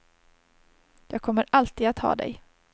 Jag kommer alltid att ha dig.